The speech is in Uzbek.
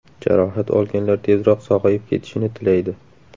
Jarohat olganlar tezroq sog‘ayib ketishini tilaydi.